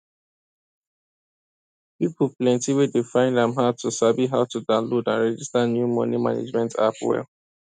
plenty people dey find am hard to sabi how to download and register new money management app well